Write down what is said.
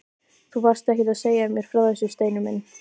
Þú varst ekkert að segja mér frá þessu, Steini minn!